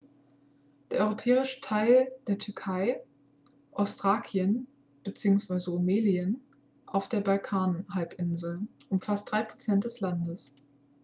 der europäische teil der türkei ostthrakien bzw. rumelien auf der balkanhalbinsel umfasst 3 % des landes